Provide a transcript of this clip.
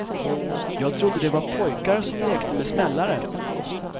Jag trodde det var pojkar som lekte med smällare.